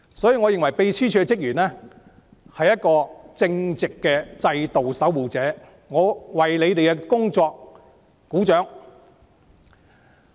因此，我認為秘書處職員是一群正直的制度守護者，我為他們的工作鼓掌。